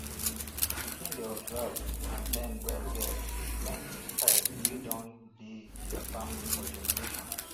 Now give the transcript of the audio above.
pikin dey observe and learn well well di planting style wey don dey their family for generations